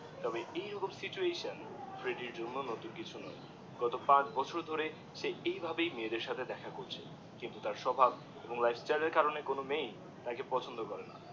তবে এই রকম সিচুয়েশন ফ্রেডির জন্যে নতুন কিছু নয় গত পাচ ছ বছর ধরে ফ্রেডি এইভাবে মেয়েদের সাথে এরম করেই দেখা করছে কিন্তু তার স্বভাব এবং লাইফস্টাইল এর জন্যেই কোনো মেয়ে তাকে পছন্দ করে না